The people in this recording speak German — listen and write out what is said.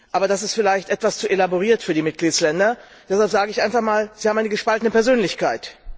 Aber das ist vielleicht etwas zu elaboriert für die Mitgliedstaaten, deshalb sage ich einfach mal, sie haben eine gespaltene Persönlichkeit.